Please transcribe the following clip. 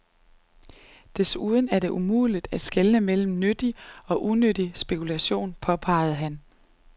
Desuden er det umuligt at skelne mellem nyttig og unyttig spekulation, påpegede han.